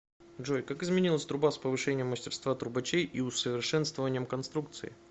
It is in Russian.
джой как изменилась труба с повышением мастерства трубачей и усовершенствованием конструкции